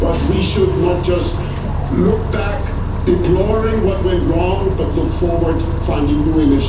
But we should not just look back, deploring what went wrong, but look forward, finding new initiatives.